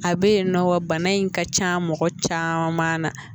A bɛ yen nɔ wa bana in ka ca mɔgɔ caman na